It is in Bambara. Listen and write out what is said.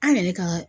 An yɛrɛ ka